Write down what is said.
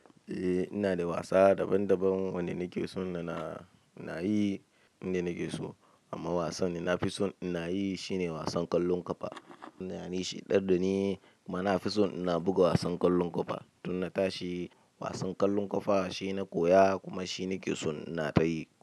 Eh ina da wasa daban-daban wanda nake son na na in na yi inda nake so. Amma wasan da nafi son ina yi shine wasan ƙwallon ƙafa. Ta yana shi ya tadda ni, kuma nafison ina buga wasan ƙwallon ƙafa. Don in na tashi. Wasan ƙwallon ƙafa shi na koya kuma shi na ke son in na tayi.